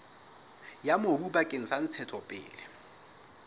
ya mobu bakeng sa ntshetsopele